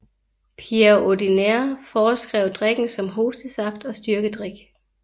Pierre Ordinaire foreskrev drikken som hostesaft og styrkedrik